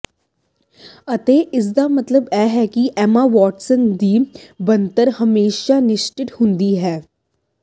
ਅਤੇ ਇਸਦਾ ਮਤਲਬ ਇਹ ਹੈ ਕਿ ਐਮਾ ਵਾਟਸਨ ਦੀ ਬਣਤਰ ਹਮੇਸ਼ਾਂ ਨਿਰਦਿਸ਼ਟ ਹੁੰਦੀ ਹੈ